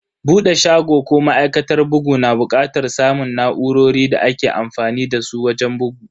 Bude shago ko ma'aikatar bugu na bukatar samun na'urorin da ake amfani dasu wajen bugu.